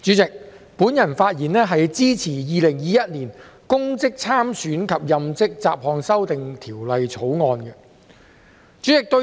代理主席，我發言支持《2021年公職條例草案》。